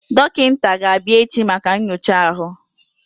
Dọkịta ga-abịa echi maka nyocha ahụ.